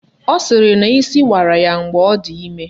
Ọ sịrị na isi wara ya mgbe ọ dị ime